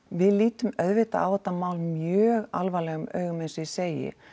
við lítum auðvitað á þetta mál mjög alvarlegum augum eins og ég segi